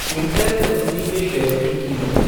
Intel company के share की कीमत